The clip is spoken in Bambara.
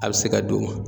A bɛ se ka don